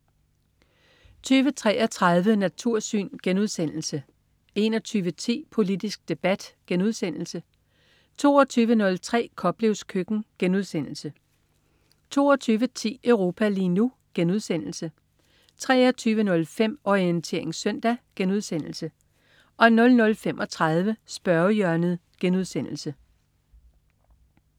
20.33 Natursyn* 21.10 Politisk debat* 22.03 Koplevs køkken* 22.10 Europa lige nu* 23.05 Orientering søndag* 00.35 Spørgehjørnet*